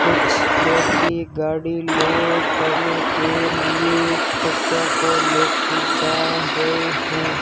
कुछ व्यक्ति गाड़ी लोड करने के लिए कट्टों को लेके जा रहे हैं।